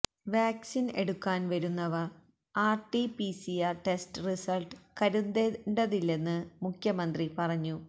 vaccine എടുക്കാൻ വരുന്നവർ RTPCR test result കരുതേണ്ടതില്ലെന്ന് മുഖ്യമന്ത്രി പറഞ്ഞു